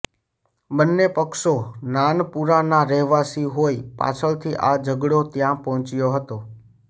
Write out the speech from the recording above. બંને પક્ષો નાનપુરાના રહેવાસી હોય પાછળથી આ ઝઘડો ત્યાં પહોંચ્યો હતો